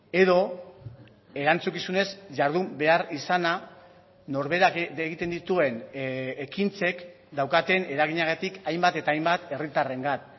edo erantzukizunez jardun behar izana norberak egiten dituen ekintzek daukaten eraginagatik hainbat eta hainbat herritarrengan